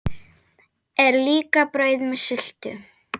Er líka brauð með sultu?